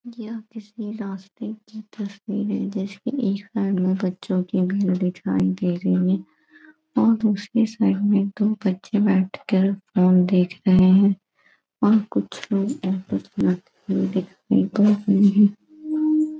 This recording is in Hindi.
यह किसी रास्ते कि तस्वीरे जैसे एक साइड मे बच्चो भीड़ दिखाई दे रही हैं और दूसरे साइड मे दो बच्चे बैठ कर फोन देख रहे हैं। --